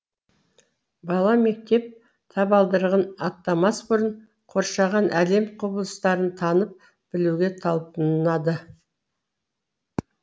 бала мектеп табалдырығын аттамас бұрын қоршаған әлем құбылыстарын танып білуге талпынады